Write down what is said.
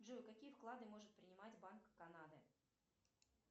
джой какие вклады может принимать банк канады